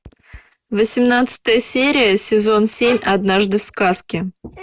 восемнадцатая серия сезон семь однажды в сказке